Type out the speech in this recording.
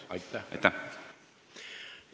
Aitäh!